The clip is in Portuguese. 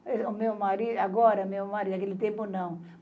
O meu marido agora, meu marido, naquele tempo, não.